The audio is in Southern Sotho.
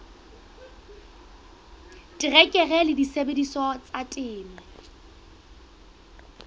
terekere le disebediswa tsa temo